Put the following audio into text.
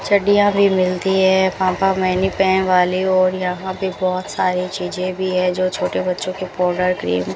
चडडीया भी मिलती है पापा मैने वाली और यहां पे बहोत सारी चीजे भी है जो छोटे बच्चों के पाउडर क्रीम --